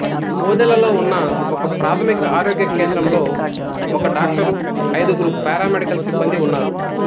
ఓదెలలో ఉన్న ఒకప్రాథమిక ఆరోగ్య కేంద్రంలో ఒక డాక్టరు ఐదుగురు పారామెడికల్ సిబ్బందీ ఉన్నారు